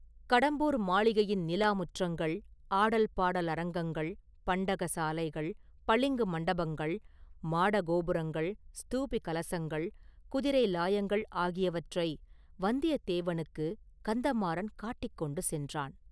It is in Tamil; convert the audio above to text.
கடம்பூர் மாளிகையின் நிலாமுற்றங்கள், ஆடல் பாடல் அரங்கங்கள், பண்டக சாலைகள், பளிங்கு மண்டபங்கள், மாட கோபுரங்கள், ஸ்தூபி கலசங்கள், குதிரை லாயங்கள் ஆகியவற்றை வந்தியத்தேவனுக்குக் கந்தமாறன் காட்டிக் கொண்டு சென்றான்.